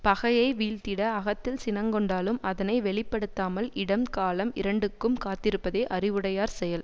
பகையை வீழ்த்திட அகத்தில் சினங்கொண்டாலும் அதனை வெளி படுத்தாமல் இடம் காலம் இரண்டுக்கும் காத்திருப்பதே அறிவுடையார் செயல்